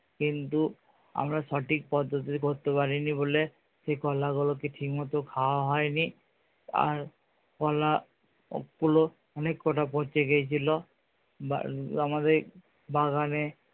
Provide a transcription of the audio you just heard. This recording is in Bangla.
কিন্তু আমরা সঠিক পদ্ধতি করতে পারিনি বলে সেই কলা গুলোকে ঠিক মতো খাওয়া হয়নি। আর কলা অনেক কটা পচে গিয়েছিলো আমাদের বাগানে